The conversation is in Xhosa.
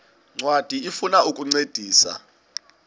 ncwadi ifuna ukukuncedisa